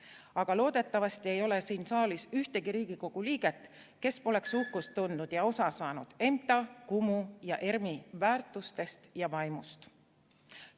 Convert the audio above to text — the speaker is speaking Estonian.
Aga loodetavasti ei ole siin saalis ühtegi Riigikogu liiget, kes poleks uhkust tundnud EMTA, Kumu ja ERM‑i väärtuste ja vaimu üle ning neist osa saanud.